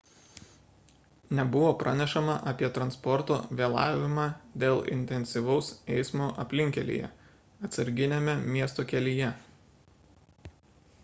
nebuvo pranešama apie transporto vėlavimą dėl intensyvaus eismo aplinkkelyje atsarginiame miesto kelyje